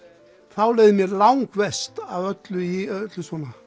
þá leið mér langverst af öllu í öllu svona